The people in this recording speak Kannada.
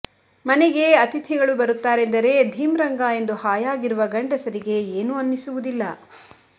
ಮನೆಗೆ ಅತಿಥಿಗಳು ಬರುತ್ತಾರೆಂದರೆ ಧಿಂ ರಂಗ ಎಂದು ಹಾಯಾಗಿರುವ ಗಂಡಸರಿಗೆ ಏನೂ ಅನ್ನಿಸುವುದಿಲ್ಲ